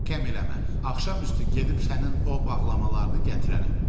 Axşam üstü gedib sənin o bağlamalarını gətirərəm.